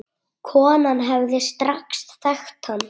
Konan hefði strax þekkt hann.